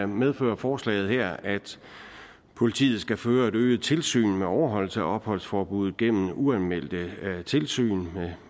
medfører forslaget her at politiet skal føre et øget tilsyn med overholdelse af opholdsforbuddet gennem uanmeldte tilsyn og